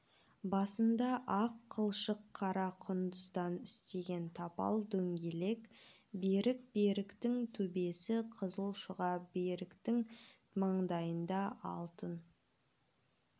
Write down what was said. басында ақ қылшық қара құндыздан істеген тапал дөңгелек берік бөріктің төбесі қызыл шұға бөріктің маңдайында алтын